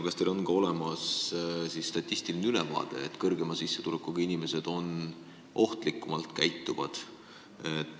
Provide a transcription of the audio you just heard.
Kas teil on olemas statistiline ülevaade, mis näitab, et suurema sissetulekuga inimesed käituvad ohtlikumalt?